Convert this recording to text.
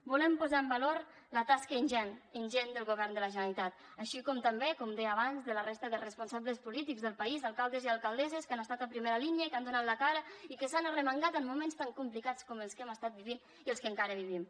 volem posar en valor la tasca ingent ingent del govern de la generalitat així com també com deia abans de la resta de responsables polítics del país alcaldes i alcaldesses que han estat a primera línia i que han donat la cara i que s’han arremangat en moments tan complicats com els que hem estat vivint i els que encara vivim